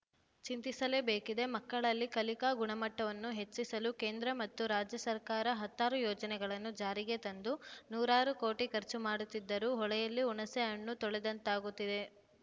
ಚಿಂತಿಸಲೇಬೇಕಿದೆ ಮಕ್ಕಳಲ್ಲಿ ಕಲಿಕಾ ಗುಣಮಟ್ಟವನ್ನು ಹೆಚ್ಚಿಸಲು ಕೇಂದ್ರ ಮತ್ತು ರಾಜ್ಯ ಸರ್ಕಾರ ಹತ್ತಾರು ಯೋಜನೆಗಳನ್ನು ಜಾರಿಗೆ ತಂದು ನೂರಾರು ಕೋಟಿ ಖರ್ಚು ಮಾಡುತ್ತಿದ್ದರೂ ಹೊಳೆಯಲ್ಲಿ ಹುಣಸೆ ಹಣ್ಣು ತೊಳೆದಂತಾಗುತ್ತಿದೆ